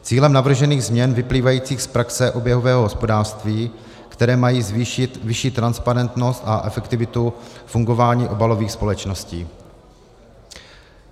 Cílem navržených změn vyplývajících z praxe oběhového hospodářství, které mají zvýšit vyšší transparentnost a efektivitu fungování obalových společností.